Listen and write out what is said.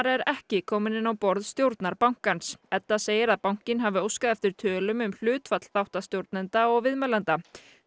er ekki komin inn á borð stjórnar bankans Edda segir að bankinn hafi óskað eftir tölum um hlutfall þáttastjórnenda og viðmælenda